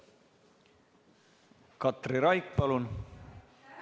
Katri Raik, palun!